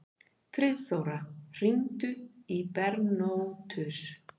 Friðþóra, hringdu í Bernótus.